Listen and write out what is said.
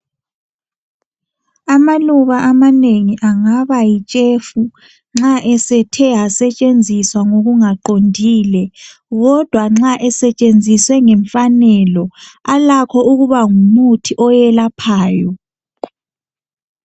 Amaluba amanengi angaba yitshefu nxa esethe asetshenziswa ngokungaqondilekodwa, kodwa nxa esetshenziswa ngemfanelo, alakho ukuba ngumuthi oyelaphayo.